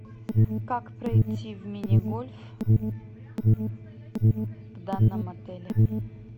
как пройти в мини гольф в данном отеле